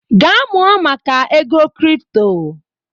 Gaa mụọ maka ego kripto!